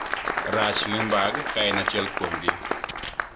Rush Limbaugh ka en achiel kuomgi